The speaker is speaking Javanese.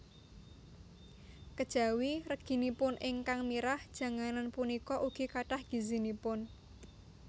Kejawi reginipun ingkang mirah janganan punika ugi kathah gizinipun